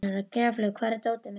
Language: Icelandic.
Gjaflaug, hvar er dótið mitt?